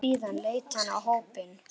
Síðan leit hann á hópinn.